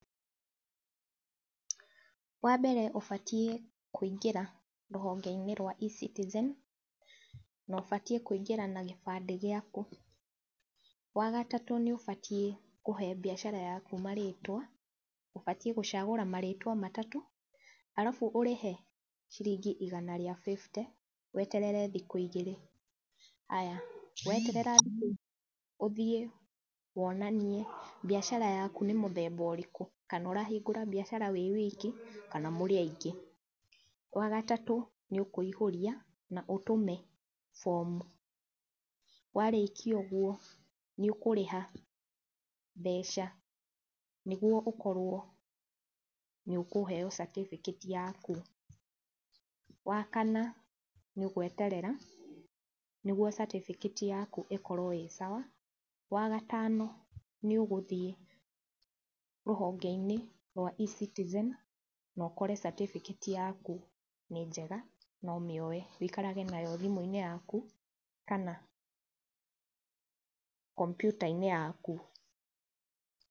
Wambere ũbatiĩ kũingĩra rũhonge-inĩ rwa eCitizen na ũbatiĩ kũingĩra na gĩbandĩ gĩaku. Wagatatũ, nĩ ũbatiĩ kũhe biacara yaku marĩtwa, ũbatiĩ gũcagũra marĩtwa matatũ arabu, ũrĩhe ciringi igana rĩa bĩbite weterere thikũ igĩrĩ. Haya weterera thikũ igĩrĩ ũthiĩ wonanie biacara yaku nĩ mũthemba ũrĩkũ, kana ũrahingũra biacara wĩ wiki kana mũrĩ aingĩ. Wagatatũ, nĩũkũihũria na ũtũme bomu. Warĩkia ũguo nĩũkũrĩha mbeca, nĩguo ũkorwo nĩũkũheyo certificate yaku. Wakana, nĩũgweterera, nĩguo certificate yaku ĩkorwo ĩ sawa. Wagatano, nĩũgũthiĩ rũhonge-inĩ rwa eCitizen nokore certificate yaku nĩ njega, na ũmĩoe ũikarage nayo thimũ-inĩ yaku, kana komputa-inĩ yaku.